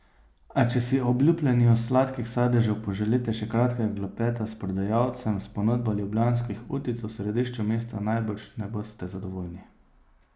A če si ob lupljenju sladkih sadežev poželite še kratkega klepeta s prodajalcem, s ponudbo ljubljanskih utic v središču mesta najbrž ne boste zadovoljni.